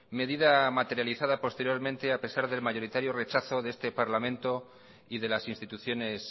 medida materializada posteriormente a pesar del mayoritario rechazo de este parlamento y de las instituciones